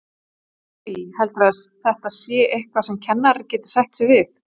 Lillý: Heldurðu að þetta sé eitthvað sem kennarar geti sætt sig við?